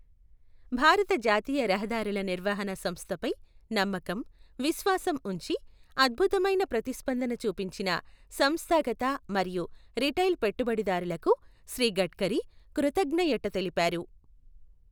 భారత జాతీయ రహదారుల నిర్వహణ సంస్థపై నమ్మకం, విశ్వాసం ఉంచి అద్భుతమైన ప్రతిస్పందన చూపించిన సంస్థాగత మరియు రిటైల్ పెట్టుబడిదారులకు శ్రీ గడ్కరీ కృతజ్ఙయట తెలిపారు.